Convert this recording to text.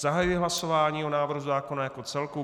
Zahajuji hlasování o návrhu zákona jako celku.